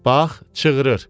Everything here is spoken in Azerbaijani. Bax, çığırır.